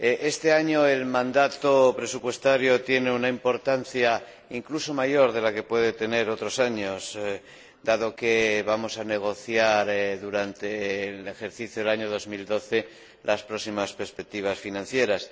Este año el mandato presupuestario tiene una importancia incluso mayor que la que puede tener otros años, dado que vamos a negociar durante el ejercicio 2012 las próximas perspectivas financieras.